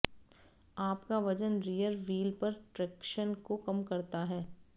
आपका वजन rear wheel पर ट्रैक्शन को कम करता है